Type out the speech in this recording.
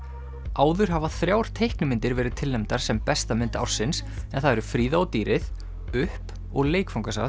áður hafa þrjár teiknimyndir verið tilnefndar sem besta mynd ársins en það eru Fríða og dýrið upp og